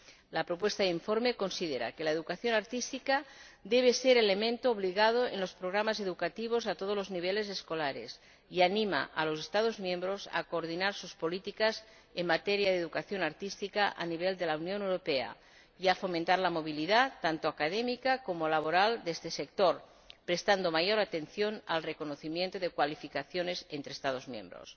El proyecto de informe considera que la educación artística debe ser elemento obligado en los programas educativos a todos los niveles escolares y anima a los Estados miembros a coordinar sus políticas en materia de educación artística a nivel de la Unión Europea, y a fomentar la movilidad, tanto académica como laboral, de este sector, prestando mayor atención al reconocimiento de cualificaciones entre Estados miembros.